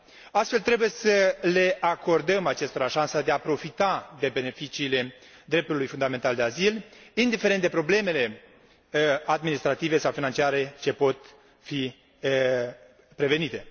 Astfel, trebuie să le acordăm acestora șansa de a profita de beneficiile dreptului fundamental de azil, indiferent de problemele administrative sau financiare ce pot fi prevenite.